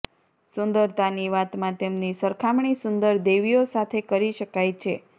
સુંદરતાની વાતમાં તેમની સરખામણી સુંદર દેવીઓ સાથે કરી શકાય છે